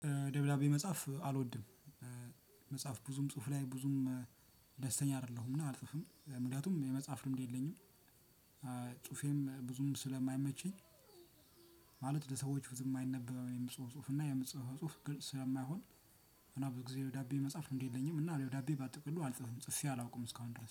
ደብላቤ መጽሐፍ አልወድም። መጽሐፍ ብዙም ጽሁፍ ላይ ብዙም ደስተኛ አይደለሁምና አልጽፍም ምክንያቱም የመጽሐፍ ልምድ የለኝም። ጹፌም ብዙም ስለማይመችኝ። ማለት ለሰዎች ብዙም የማይነበብ የምጽፈው ጽሁፍ እና የምጽፈው ጽሁፍ ግን ስለማይሆን። እና ብዙ ጊዜ ደብዳቤ መጻፍ እንዴት የለኝም እና ወዳቤ ባጥቅሎ አልጽፍም ጽፌ አላውቅም እስካሁን ድረስ